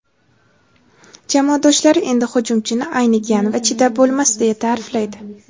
Jamoadoshlari endi hujumchini "aynigan" va "chidab bo‘lmas" deya ta’riflaydi.